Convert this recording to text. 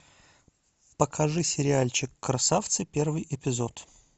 покажи сериальчик красавцы первый эпизод